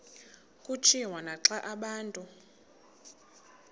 kutshiwo naxa abantu